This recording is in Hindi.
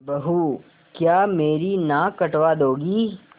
बहू क्या मेरी नाक कटवा दोगी